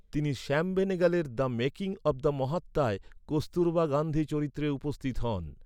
তিনি শ্যাম বেনেগালের ‘The Making of the মহাত্মা’য় কস্তুরবা গান্ধী চরিত্রে উপস্থিত হন।